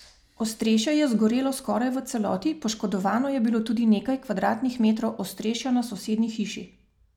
Ostrešje je zgorelo skoraj v celoti, poškodovano je bilo tudi nekaj kvadratnih metrov ostrešja na sosednji hiši.